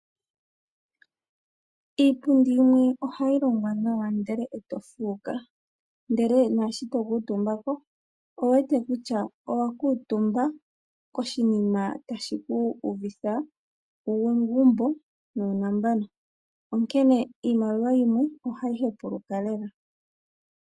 Iipundi yimwe ohayi longwa nawa ndele eto fuuka . Ndele naashi tokuu tumbako owu wete kutya owa kuutumba koshinima tashi ku uvitha uugumbo nuu nambano . Onkene iimaliwa yimwe ohayi hepuluka lela .